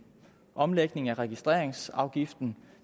omlægning af registreringsafgiften